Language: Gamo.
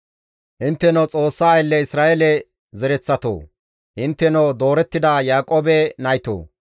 Intteno Xoossa aylle Isra7eele zereththatoo! Intteno doorettida Yaaqoobe naytoo!